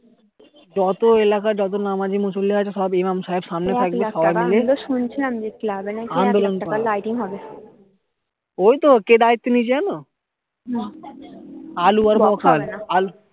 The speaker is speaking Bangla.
যত এলাকার যত নামাজি মুসলিম আছে সব ইমাম সাহেব সামনে থাকবে আন্দোলন হবে ওই তো কে দায়িত্ব নিয়েছে জানো আলু আর বাফান